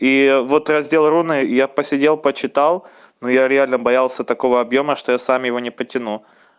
и вот раздел руны я посидел почитал ну я реально боялся такого объёма что я сам его не потяну